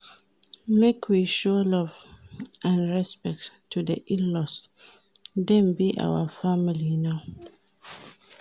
Make we show love and respect to di in-laws, dem be our family now.